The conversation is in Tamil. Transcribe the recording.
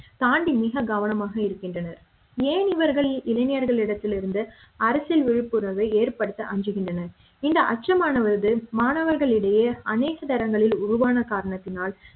தாண்டி மிக கவனமாக இருக்கின்றனர் ஏன் இவர்கள் இளைஞர்களிடத்திலிருந்து அரசியல் விழிப்புணர்வை ஏற்படுத்த அஞ்சுகின்றனர் இந்த அச்சமானது மாணவர்களிடையே அனைத்து தரனுங்களில் உருவான காரணத்தினால்